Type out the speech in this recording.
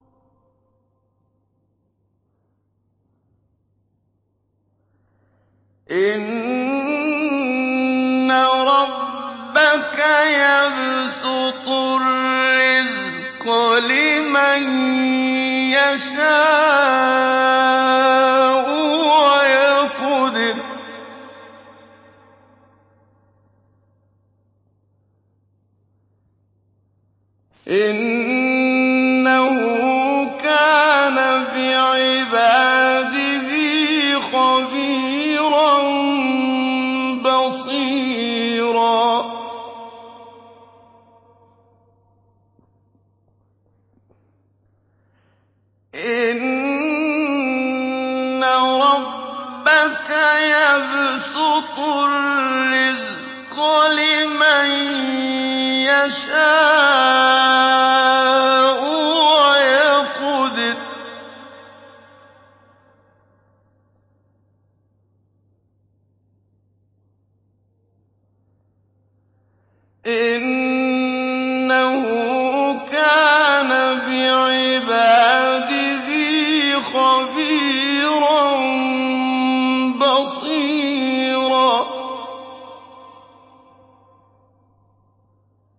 إِنَّ رَبَّكَ يَبْسُطُ الرِّزْقَ لِمَن يَشَاءُ وَيَقْدِرُ ۚ إِنَّهُ كَانَ بِعِبَادِهِ خَبِيرًا بَصِيرًا